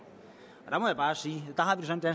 sådan